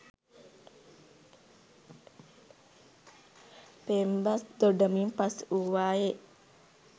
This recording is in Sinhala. පෙම්බස් දොඩමින් පසු වූවාය